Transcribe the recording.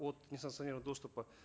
от несанкционированного доступа